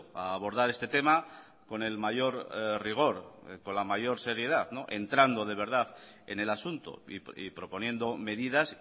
a abordar este tema con el mayor rigor con la mayor seriedad entrando de verdad en el asunto y proponiendo medidas